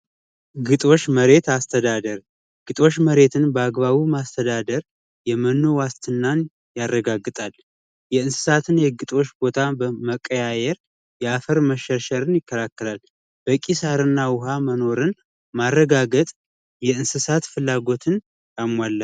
ግጦሽ መሬት አስተዳደር የግጦሽ መሬትን በአግባቡ ማስተዳደር የመኖ ዋስትናን ያረጋግጣል የግጦሽ ቦታ በመቀያየር የአፈር መሸርሸር ይከላከላል በኪሳራና ውሃ መኖርን ማረጋገጥ የእንስሳት ፍላጎትን አለው ያሞላል።